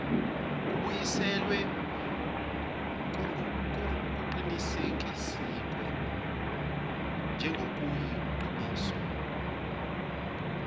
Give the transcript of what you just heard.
kubuyiselwa kuqinisekiswe njengokuyiqiniso